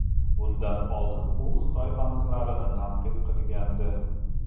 Bundan oldin u Xitoy banklarini tanqid qilgandi.